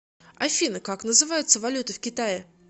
афина как называется валюта в китае